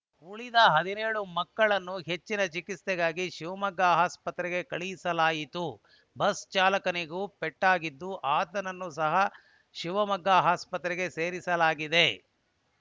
ಉಳಿದ ಹದಿನೇಳು ಮಕ್ಕಳನ್ನು ಹೆಚ್ಚಿನ ಚಿಕಿತ್ಸೆಗಾಗಿ ಶಿವಮೊಗ್ಗ ಆಸ್ಪತ್ರೆಗೆ ಕಳಿಸಲಾಯಿತು ಬಸ್‌ ಚಾಲಕನಿಗೂ ಪೆಟ್ಟಾಗಿದ್ದು ಆತನನ್ನು ಸಹ ಶಿವಮೊಗ್ಗ ಆಸ್ಪತ್ರೆಗೆ ಸೇರಿಸಲಾಗಿದೆ